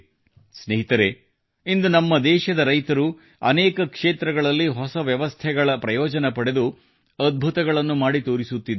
ಸ್ನೇಹಿತರೆ ಇಂದು ನಮ್ಮ ದೇಶದ ರೈತರು ಅನೇಕ ಕ್ಷೇತ್ರಗಳಲ್ಲಿ ಹೊಸ ವ್ಯವಸ್ಥೆಗಳ ಪ್ರಯೋಜನ ಪಡೆದು ಅದ್ಭುತಗಳನ್ನು ಮಾಡಿ ತೋರಿಸುತ್ತಿದ್ದಾರೆ